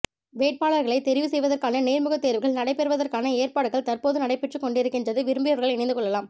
வேட்பாளர்களை தெரிவு செய்வதற்கான நேர்முக தேர்வுகள் நடைபெறுவதற்கான ஏற்பாடுகள் தற்பொழுது நடைபெற்று கொண்டிருக்கின்றது விரும்பியவர்கள் இணைந்து கொள்ளலாம்